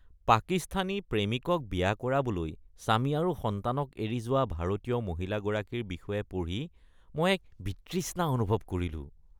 পাকিস্তানী প্ৰেমিকক বিয়া কৰাবলৈ স্বামী আৰু সন্তানক এৰি যোৱা ভাৰতীয় মহিলাগৰাকীৰ বিষয়ে পঢ়ি মই এক বিতৃষ্ণা অনুভৱ কৰিলো।